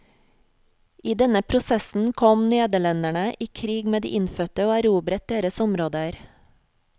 I denne prosessen kom nederlenderne i krig med de innfødte, og erobret deres områder.